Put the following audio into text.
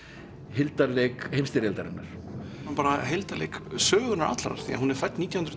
hildarleik heimsstyrjaldarinnar bara hildarleik sögunnar allrar því hún er fædd nítján hundruð